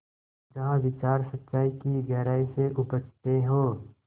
जहाँ विचार सच्चाई की गहराई से उपजतें हों